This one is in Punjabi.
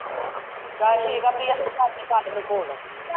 ਚੱਲ ਠੀਕ ਏ ਪਿ੍ਆ ਫੇਰ ਕਰ ਲਈ ਕਾਜਲ ਨੂੰ phone